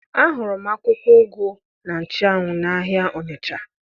Ahụrụ m akwụkwọ ụgụ na nchụanwụ n'ahịa Ọnịcha